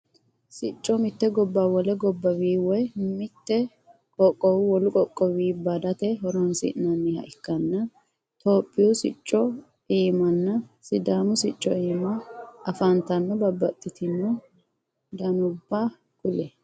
Sicco mitte gobba wole gobbawinni woy mitto qoqqowo wolu qoqqowini badate horonsi'nanniha ikkanna etiyophiwu sicco iimanna sidaamu sicco iima afantanota babaxitinno danubba kuli?